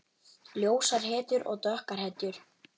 Ljósar hetjur og dökkar hetjur.